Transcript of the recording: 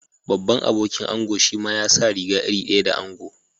Babban abokin ango shima ya sa riga iri daya da ango.